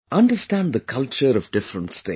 Understand the culture of different states